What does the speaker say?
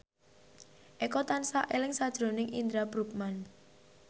Eko tansah eling sakjroning Indra Bruggman